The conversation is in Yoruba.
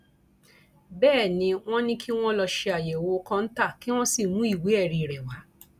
bẹẹ ni wọn ní kí wọn lọọ ṣe àyẹwò kọńtà kí wọn sì mú ìwé ẹrí rẹ wá